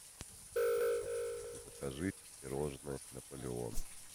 закажи пирожное наполеон